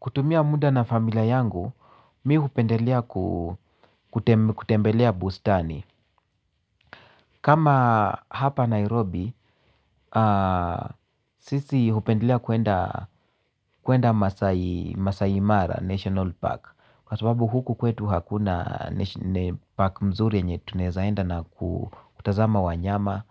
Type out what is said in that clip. Kutumia muda na familia yangu, mi hupendelea kutembe kutembelea bustani. Kama hapa Nairobi, sisi hupendelea kuenda Masai Mara National Park. Kwa sababu huku kwetu hakuna park mzuri yenye tunaeza enda na kutazama wanyama,